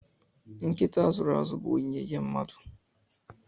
Nkịta a zụrụ azụ bụ onyinye nye mmadụ